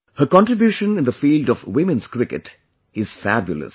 Her contribution in the field of women's cricket is fabulous